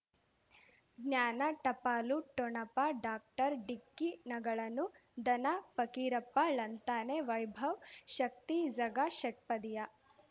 ಜ್ಞಾನ ಟಪಾಲು ಠೊಣಪ ಡಾಕ್ಟರ್ ಢಿಕ್ಕಿ ಣಗಳನು ಧನ ಫಕೀರಪ್ಪ ಳಂತಾನೆ ವೈಭವ್ ಶಕ್ತಿ ಝಗಾ ಷಟ್ಪದಿಯ